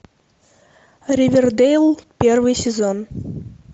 ривердейл первый сезон